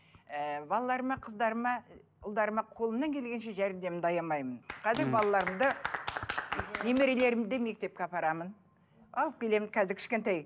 ыыы балаларыма қыздарыма ұлдарыма қолымнан келгенше жәрдемімді аямаймын қазір балаларымды немерелерімді мектепке апарамын алып келемін қазір кішкентай